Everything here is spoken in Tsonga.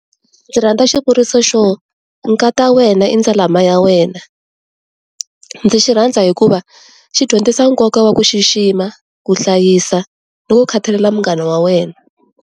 Ndzi rhandza xivuriso xo nkata wena i ndzalama ya wena, ndzi xi rhandza hikuva xi dyondzisa nkoka wa ku xixima, ku hlayisa ni ku khathalela munghana wa wena.